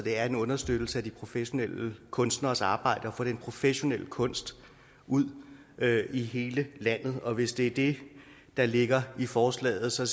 er en understøttelse af de professionelle kunstneres arbejde med at få den professionelle kunst ud i hele landet og hvis det er det der ligger i forslaget så